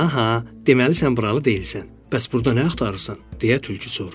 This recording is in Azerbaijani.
Aha, deməli sən buralı deyilsən, bəs burda nə axtarırsan, deyə tülkü soruşdu.